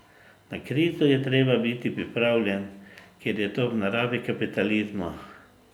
Na krizo je treba biti pripravljen, ker je to v naravi kapitalizma.